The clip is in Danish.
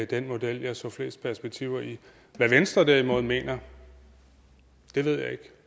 den model jeg så flest perspektiver i hvad venstre derimod mener ved jeg ikke